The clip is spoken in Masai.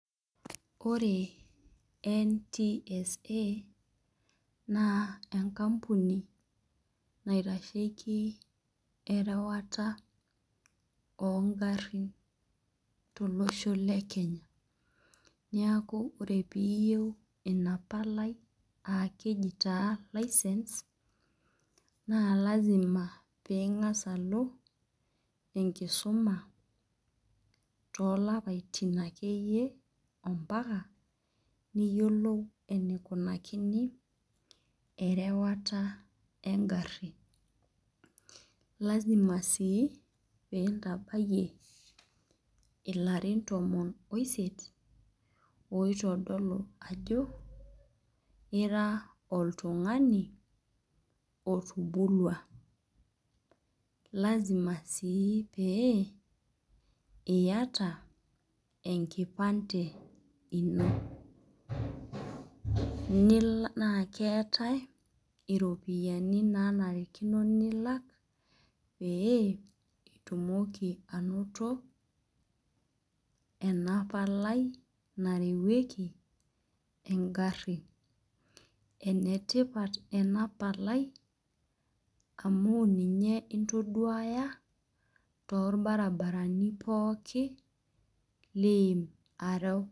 Ore NTSA naa enkampuni naitasheki erewata oongarrin tolosho le Kenya. Niaku ore piiyieu ina palai, aa keji taa license ingas alo enkisuma too lapaitin akeyie ompaka niyiolou eneikunakini erewata engari. Kenarikino sii peyie intabayie ilarin tomon oisite oitodolo ajo ira oltungani otubulua. lazima sii peyie iyata enkipante ino. Naa keetae iropiyiani nilak peyie itumoki anoto ena palai narewueki engarri. Enetipat enapali amuu ninye intoduaya torbaribani pooki liim areu.